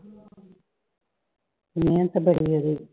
ਮਿਹਨਤ ਬੜੀ ਉਹਦੀ